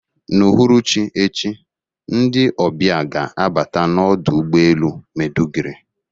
N'uhuruchi echi, ndị ọbịa ga-abata n'ọdụ ụgbọ elu Maiduguri